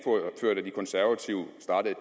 konservative startede